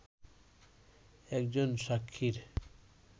একজন সাক্ষীর